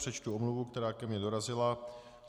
Přečtu omluvu, která ke mně dorazila.